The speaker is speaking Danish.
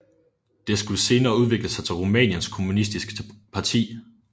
Det skulle senere udvikle sig til Rumæniens Kommunistiske Parti